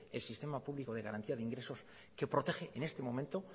el sistema público de garantía de ingresos que protege en este momento